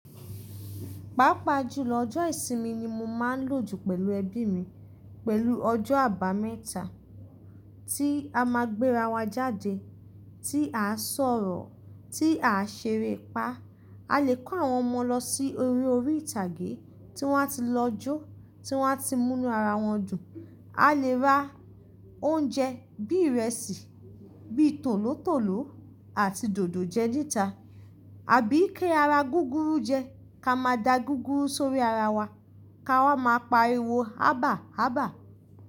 Pápá jùlọ ọjọ́ ìsinmi ni mo máa ń lòjù pẹ̀lú ẹbí mi, pẹ̀lú ọjọ́ àbámẹ́ta tí a máa gbéra wa jáde, tí à sọ̀rọ̀, tí à ṣeré pa. A lè kó àwọn ọmọ lọ sí orí orí ìtàgé tí wọ́n á ti lọ jó, tí wọ́n á ti mú inú ara wọn dùn. A lè rà oúnjẹ bí ìrẹsì, bí tòlótòló àti dòdò jẹ dídá. Àbí kí ara gúrúrú jẹ, ká máa da gúrúrú sórí ara wa, ká wá máa pariwọ hábàhábà.